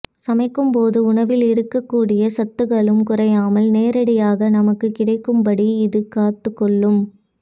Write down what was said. சமைக்கும் போது உணவில் இருக்க கூடிய சத்துக்களும் குறையாமல் நேரடியாக நமக்கு கிடைக்கும் படி இது காத்து கொள்ளும்